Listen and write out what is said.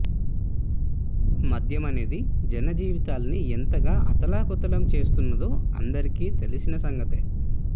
మద్యం అనేది జనజీవితాల్ని ఎంతగా అతలాకుతలం చేసేస్తున్నదో అందరికీ తెలిసిన సంగతే